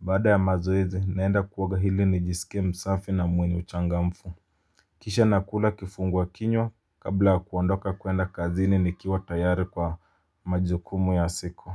Baada ya mazoezi naenda kuoga hili nijiske msafi na mwenye uchangamfu. Kisha nakula kifungua kinywa kabla kuondoka kuenda kazini nikiwa tayari kwa majukumu ya siku.